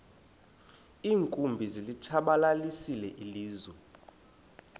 iinkumbi zilitshabalalisile ilizwe